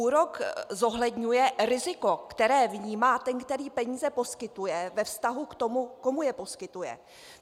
Úrok zohledňuje riziko, které vnímá ten, který peníze poskytuje, ve vztahu k tomu, komu je poskytuje.